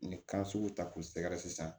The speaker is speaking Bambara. Ni kan sugu ta k'u sɛgɛrɛ sisan